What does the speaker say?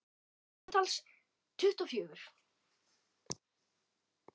Samtals tuttugu og fjögur.